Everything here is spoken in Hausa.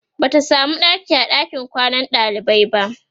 Bata samu ɗaki a ɗakin kwanan ɗalibai ba